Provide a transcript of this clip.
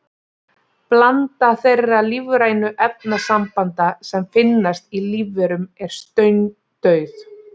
Blanda þeirra lífrænu efnasambanda sem finnast í lífverum er steindauð.